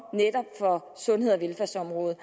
fra sundheds og velfærdsområdet